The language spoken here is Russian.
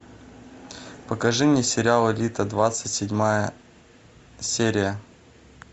покажи мне сериал элита двадцать седьмая серия